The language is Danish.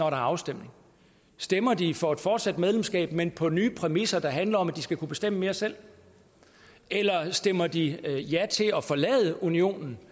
er afstemning stemmer de for et fortsat medlemskab men på nye præmisser der handler om at de skal kunne bestemme mere selv eller stemmer de ja til at forlade unionen